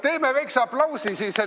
Teeme siis väikse aplausi.